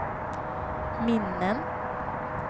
minnen